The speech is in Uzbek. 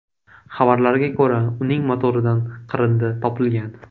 Xabarlarga ko‘ra uning motoridan qirindi topilgan.